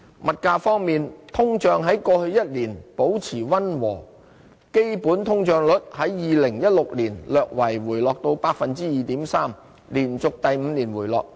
物價方面，通脹在過去一年保持溫和，基本通脹率在2016年略為回落至 2.3%， 連續第五年回落。